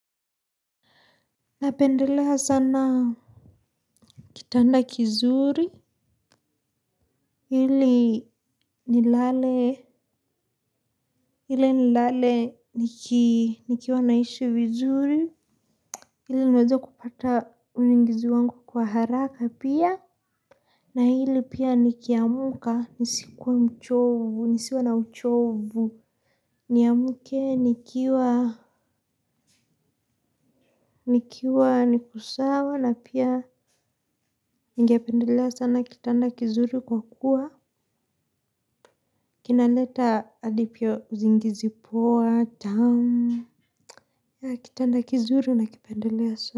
Napendelea sana kitanda kizuri, ili nilale, ili nilale nikiwa naishi vizuri, ili niweze kupata usingizi wangu kwa haraka pia, na ili pia nikiamka, nisikuwe mchovu, nisiwe na uchovu, niamuke, nikiwa, nikiwa, niko sawa, na pia ningependelea sana kitanda kizuri kwa kuwa. Kinaleta hadi pia usingizi poa tamu. Kitanda kizuri na kipendelea so.